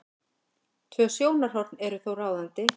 Tvö sjónarhorn eru þó ráðandi.